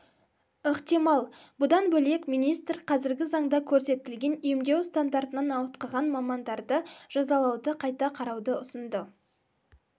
ықтимал бұдан бөлек министр қазіргі заңда көрсетілген емдеу стандартынан ауытқыған мамандарды жазалауды қайта қарауды ұсынды